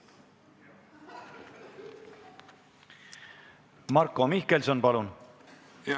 Marko Mihkelson, palun!